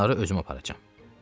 Onları özüm aparacağam.